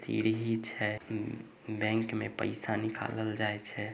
सीढ़हि छै उम उ बैंक में पैसा निकालल जाए छै |